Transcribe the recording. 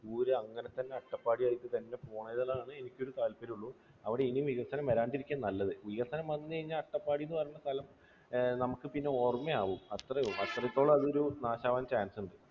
അങ്ങനെ തന്നെ അട്ടപ്പാടി ആയി തന്നെ പോണം. ഇതെല്ലാമാണ് എനിക്കൊരു താല്പര്യം. അവിടെ ഇനിയും വികസനം വരാതെ ഇരിക്കുകയാണ് നല്ലത്. വികസനം വന്നുകഴിഞ്ഞാൽ അട്ടപ്പാടി എന്ന് പറയുന്ന സ്ഥലം നമുക്ക് പിന്നെ ഓർമ്മയാകും. അത്രയും, അത്രത്തോളം അത് നാശം ആകാൻ chance ഉണ്ട്.